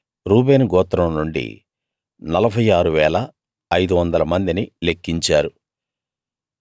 అలా రూబేను గోత్రం నుండి 46 500 మందిని లెక్కించారు